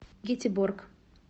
гетеборг